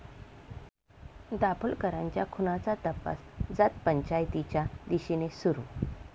दाभोलकरांच्या खुनाचा तपास जातपंचायतीच्या दिशेने सुरू